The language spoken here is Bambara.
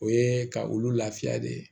O ye ka olu lafiya de